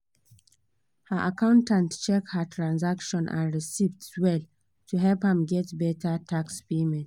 her accountant check her transaction and receipts well to help am get better tax payment